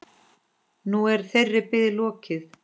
Nú er þeirri bið lokið.